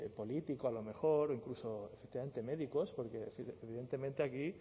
político a lo mejor o incluso efectivamente médicos porque evidentemente aquí